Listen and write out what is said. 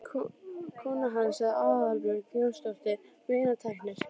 Kona hans er Aðalbjörg Jónasdóttir meinatæknir.